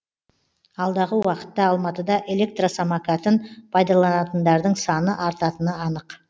алдағы уақытта алматыда электросамокатын пайдаланатындардың саны артатыны анық